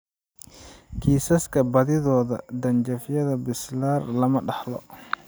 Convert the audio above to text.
Kiisaska badidooda, dhanjafyada basilar lama dhaxlo.